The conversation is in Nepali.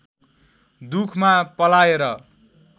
दुखमा पलाएर